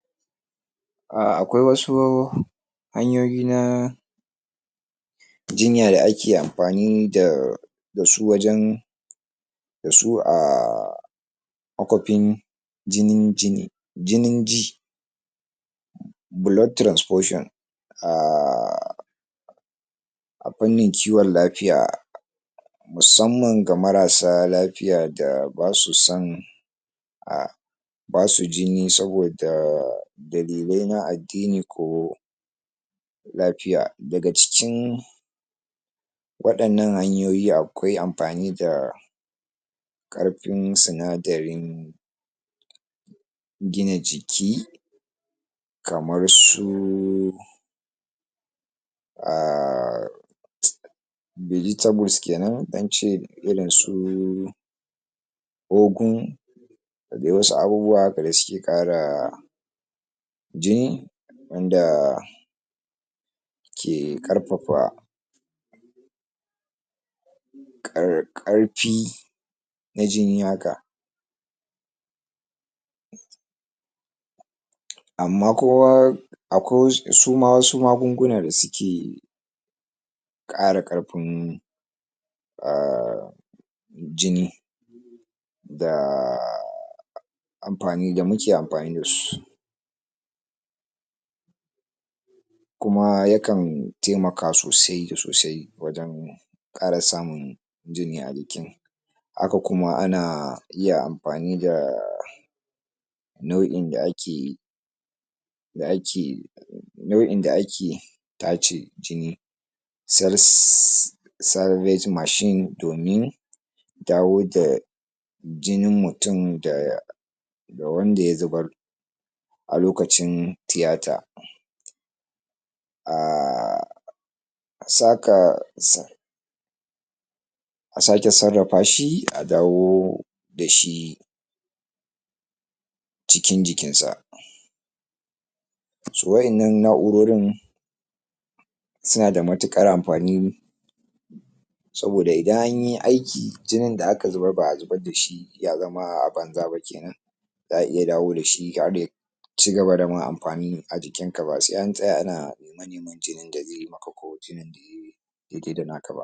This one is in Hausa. akwai wasu hanyoyi na jinya da ake amfani dasu wajen da su a makwapin jinin jini jinin ji blood transfussion a a fannin kiwon lafiya musamman ga marasa lafiya da basu son a basu jini saboda dalilai na addini ko lafiya daga cikin waɗannan hanyoyi akwai amfani da ƙarfin sinadarin gina jiki kamar su [arhg] vegetables kenan zance irin su ogun da dai wasu abubuwa haka da suke ƙara jini wanda ke ƙarfafa ƙar ƙarfi na jini haka amma kowa akwai wasu suma wasu magunguna da suke ƙara ƙarfin [argh] jini da amfani da muke amfani dasu kuma yakan taimaka sosai da sosai wajen ƙara samun jini a jiki haka kuma ana iya amfani da na'in da ake da ake nau'in da ake tace jini sar sariage machine domin dawoda jinin mutum da ga wanda ya zubar a lokacin tiyata [argh] saka sa a sake sarrafa shi a dawo dashi cikin jikin sa to wa'innan na'urorin suna da matuƙar amfani saboda idan anyi aiki jinin da aka zubar ba'a zubar dashi ya zama a banza ba kenan a'a iya dawo dashi har ya cigaba dama amfani a jikin ka ba sai an tsaya ana nema-neman jinin dazai maka ko jinin dazai daidai da naka ba.